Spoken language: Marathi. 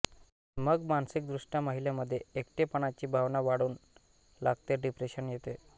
मग मानसिकदृष्टया महिलेमध्ये एकटेपणाची भावना वाढून लागते डिप्रेशन येते